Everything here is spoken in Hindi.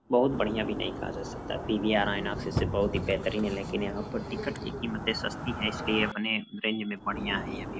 बहुत बढ़िया भी नहीं कहा जा सकता पी_वी_आर आयनोक्स से बहुत ही बेहतरीन है लेकिन यहां पर टिकट की कीमतें सस्ती हैं इसलिए अपने रेंज में बढ़िया है य --